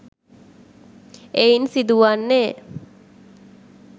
එයින් සිදු වන්නේ